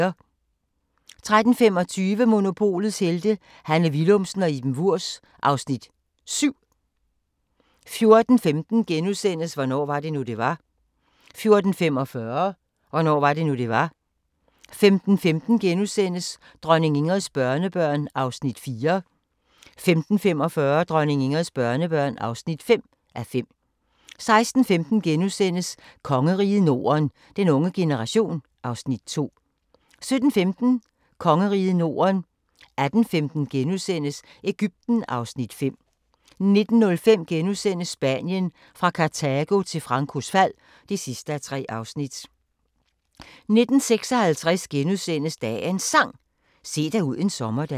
13:25: Monopolets Helte – Hanne Willumsen og Iben Wurbs (Afs. 7) 14:15: Hvornår var det nu, det var? * 14:45: Hvornår var det nu, det var? 15:15: Dronning Ingrids børnebørn (4:5)* 15:45: Dronning Ingrids børnebørn (5:5) 16:15: Kongeriget Norden - den unge generation (Afs. 2)* 17:15: Kongeriget Norden 18:15: Egypten (Afs. 5)* 19:05: Spanien – fra Kartago til Francos fald (3:3)* 19:56: Dagens Sang: Se dig ud en sommerdag *